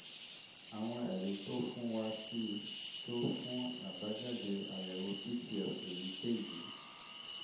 àwọn ẹ̀rí tó o fún wa sì tó fún àbájáde àyẹ̀wò pft èyíkéyìí